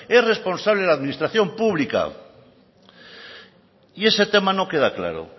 es responsable la administración pública y ese tema no queda claro